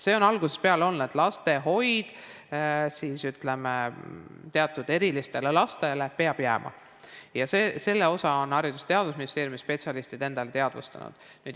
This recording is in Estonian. See on algusest peale olnud nii, et lastehoid teatud erilistele lastele peab jääma, ja selle on Haridus- ja Teadusministeeriumi spetsialistid endale teadvustanud.